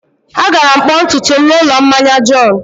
Agara m kpụọ ntutu m n'ụlọ mmanya John.